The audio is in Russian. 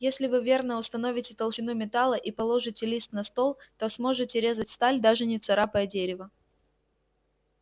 если вы верно установите толщину металла и положите лист на стол то сможете резать сталь даже не царапая дерева